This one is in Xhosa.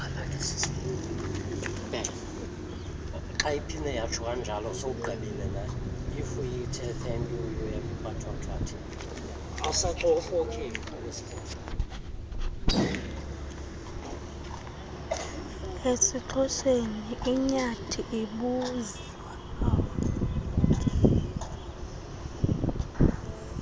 esixhoseni inyathi ibuzwa